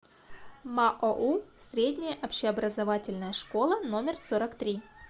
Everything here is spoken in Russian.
маоу средняя общеобразовательная школа номер сорок три